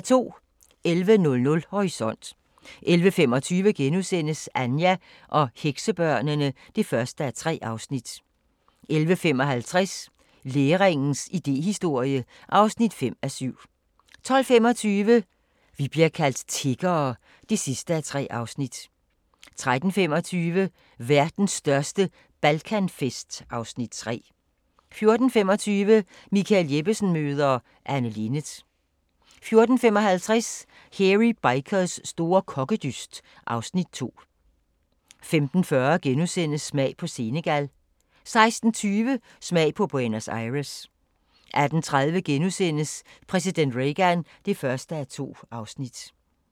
11:00: Horisont 11:25: Anja og heksebørnene (1:3)* 11:55: Læringens idéhistorie (5:7) 12:25: Vi bliver kaldt tiggere (3:3) 13:25: Verdens største Balkanfest (Afs. 3) 14:25: Michael Jeppesen møder ... Anne Linnet 14:55: Hairy Bikers store kokkedyst (Afs. 2) 15:40: Smag på Senegal * 16:20: Smag på Buenos Aires 18:30: Præsident Reagan (1:2)*